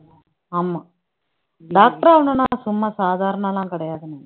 ஆமா doctor ஆகணும்ன்னா சும்மா சாதாரணம் எல்லாம் கிடையாது